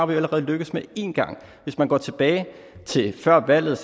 vi allerede lykkedes med en gang hvis man går tilbage til før valget